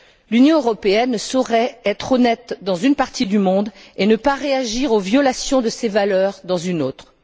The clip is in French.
L'Union européenne ne saurait être honnête dans une partie du monde et ne pas réagir aux violations de ses valeurs dans une autre.